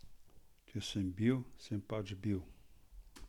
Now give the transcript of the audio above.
Če sem bil, sem pač bil.